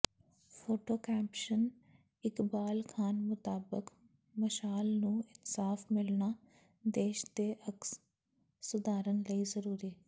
photo caption Iqbal Khan ਮੁਤਾਬਕ ਮਸ਼ਾਲ ਨੂੰ ਇਨਸਾਫ਼ ਮਿਲਣਾ ਦੇਸ ਦੇ ਅਕਸ ਸੁਧਾਰਨ ਲਈ ਜ਼ਰੂਰੀ